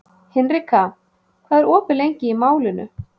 Hinrika, hvað er opið lengi í Málinu?